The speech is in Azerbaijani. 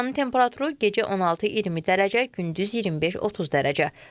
Havanın temperaturu gecə 16-20 dərəcə, gündüz 25-30 dərəcə.